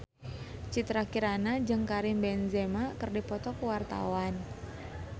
Citra Kirana jeung Karim Benzema keur dipoto ku wartawan